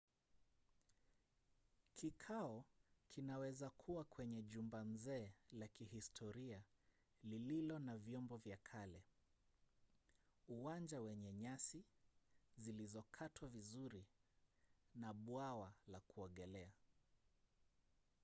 kikao kinaweza kuwa kwenye jumba nzee la kihistoria lililo na vyombo vya kale uwanja wenye nyasi zilizokatwa vizuri na bwawa la kuogelea